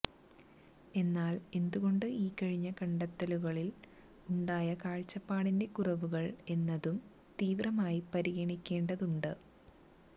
എന്നാല് എന്തുകൊണ്ട് ഈ കഴിഞ്ഞ കണ്ടെത്തലുകളില് ഉണ്ടായ കാഴ്ചപ്പാടിന്റെ കുറവുകള് എന്നതും തീവ്രമായി പരിഗണിക്കേണ്ടതുണ്ട്